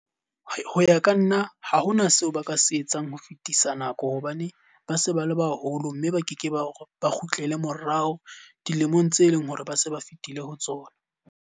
Ho ya ka nna ha hona seo ba ka se etsang ho fetisa nako. Hobane ba se ba le baholo mme ba ke ke ba ba kgutlele morao dilemong tse leng hore ba se ba fetile ho tsona.